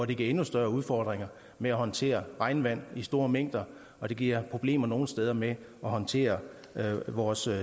det giver endnu større udfordringer med at håndtere regnvand i store mængder og det giver problemer nogle steder med at håndtere vores